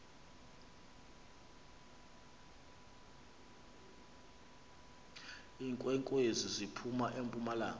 iinkwenkwezi ziphum empumalanga